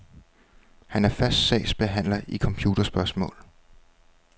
Han er fast sagsbehandler i computerspørgsmål.